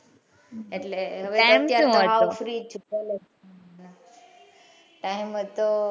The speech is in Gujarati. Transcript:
એટલે time સુ હતો time હતો.